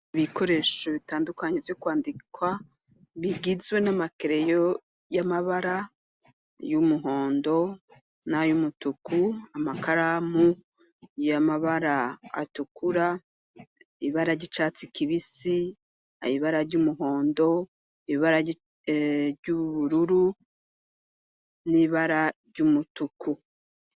bikoresho bitandukanyo byo kwandikwa bigizwe n'amakereyo y'amabara y'umuhondo n'ayumutuku amakaramu y'amabara atukura ibara ry'icatsi kibisi aibara ry'umuhondo ibara ry'ubururu n'ibara ry'umutuku.